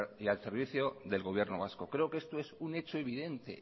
y al servicio del gobierno vasco creo que este es un hecho evidente